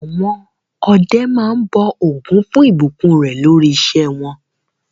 Àwọn ọdẹ máa ń bọ Ògún fún ìbùkún rẹ̀ lórí iṣẹ́ wọn.